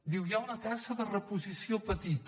diu hi ha una taxa de reposició petita